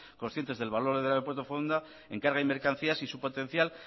conscientes del valor del aeropuerto de foronda en carga y mercancías y su potencial